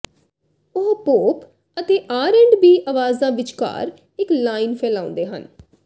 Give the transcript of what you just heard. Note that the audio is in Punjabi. ਉਹ ਪੋਪ ਅਤੇ ਆਰ ਐੰਡ ਬੀ ਆਵਾਜ਼ਾਂ ਵਿਚਕਾਰ ਇੱਕ ਲਾਈਨ ਫੈਲਾਉਂਦੇ ਹਨ